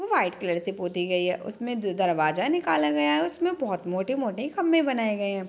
White colour से पोती गई है । उसमे जो दरवाजा निकाला गया है उसमे बहुत मोटे मोटे खम्भे बनाये गए हैं ।